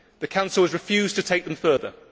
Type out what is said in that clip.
The Council has refused to take them further.